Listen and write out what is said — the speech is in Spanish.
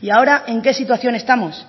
y ahora en qué situación estamos